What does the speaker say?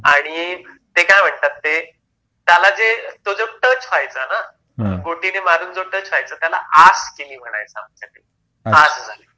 आणि ते काय म्हणतात ते त्यालाच तो जाऊन टच व्हायचा ना गोटीने मारून जो टच व्हायचा त्याला आस केली म्हणायचं आमच्याकडे आस झाली